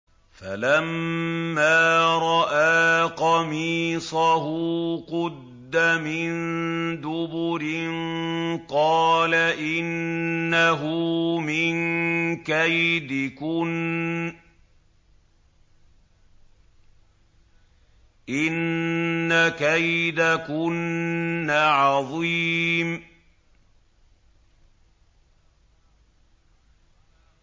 فَلَمَّا رَأَىٰ قَمِيصَهُ قُدَّ مِن دُبُرٍ قَالَ إِنَّهُ مِن كَيْدِكُنَّ ۖ إِنَّ كَيْدَكُنَّ عَظِيمٌ